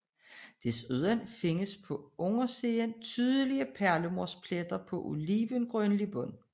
Desuden findes på undersiden tydelige perlemorspletter på olivengrønlig bund